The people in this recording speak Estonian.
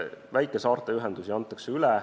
Väikesaarte ühendusi antakse üle.